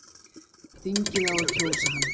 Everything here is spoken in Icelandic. Þingið á að kjósa hann